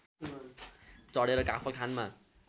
चढेर काफल खानमा